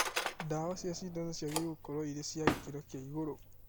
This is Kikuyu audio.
Ndawa cia cindano ciagĩrĩirwo nĩ gũkorwo irĩ cia gĩkĩro kĩa igũrũ